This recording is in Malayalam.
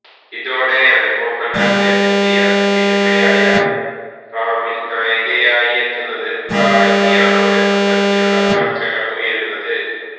ഇതോടെയാണ് മോഹന്ലാലിന്റെ പുതിയ സിനിമയായ റാമില് നായികയായെത്തുന്നത് പ്രാചിയാണോ എന്ന തരത്തിലുള്ള ചര്ച്ചകള് ഉയരുന്നത്